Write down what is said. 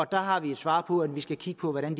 der har vi et svar om at vi skal kigge på hvordan